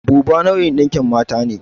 Buba nau'in ɗinkin mata ne.